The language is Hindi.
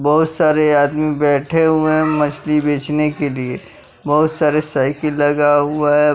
बहुत सारे आदमी बैठे हुए हैं मछ्ली बेचने के लिए बहुत सारे साइकिल लगा हुआ है--